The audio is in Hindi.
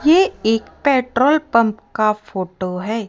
ये एक पेट्रोल पंप का फोटो है।